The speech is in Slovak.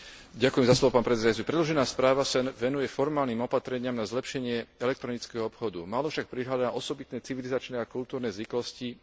Predložená správa sa venuje formálnym opatreniam na zlepšenie elektronického obchodu, málo však prihliada na osobitné civilizačné a kultúrne zvyklosti jednotlivých krajín.